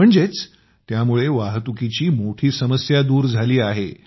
म्हणजेच त्यामुळे वाहतुकीची मोठी समस्या दूर झाली आहे